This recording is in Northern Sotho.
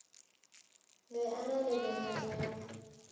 be a na le lenao